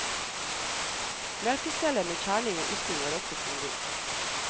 Melkestellet med kjerning og ysting var også tungvint.